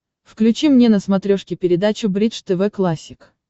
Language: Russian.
включи мне на смотрешке передачу бридж тв классик